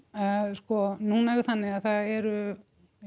sko núna er það þannig að það eru